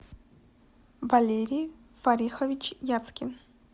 валерий фарихович яцкин